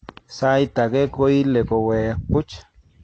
Saait age koile koweek buuch